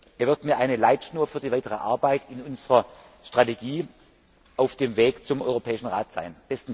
Er wird mir eine Leitschnur für die weitere Arbeit an unserer Strategie auf dem Weg zum Europäischen Rat sein.